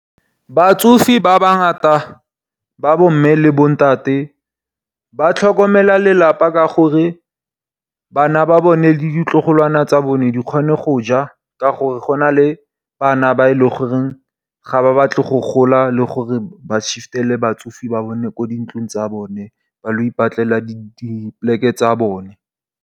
Batsofe ba ba ngata ba bo mme le bontate ba tlhokomela lelapa. Ka gore bana ba bone le ditlogolwana tsa bone di kgone go ja, ka gore go na le bana ba leng gore ga ba batle go gola. Le gore ba shiftele batsofe ba bone ko dintlong tsa bone ba ye go ipatlela dipoleke tsa bone.